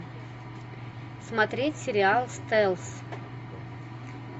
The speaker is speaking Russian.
смотреть сериал стелс